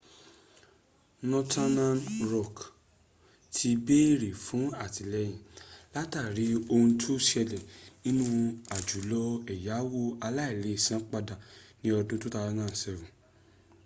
northen rock ti béèrè fún àtìlẹyìn látàrí ohun tó ṣẹlẹ̀ nínú àjálù ẹ̀yáwo aláìleèsanpadà ní ọdún 2007